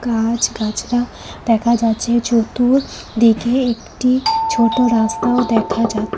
গাছ গাছরা দেখা যাচ্ছে চতুর্দিকে একটি ছোট রাস্তাও দেখা যা--